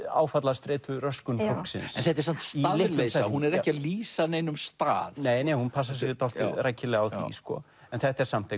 áfallastreituröskun fólksins en þetta er samt staðleysa hún er ekki að lýsa neinum stað nei hún passar sig dálítið rækilega á því en þetta er samt